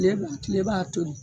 Tile tile b'a toli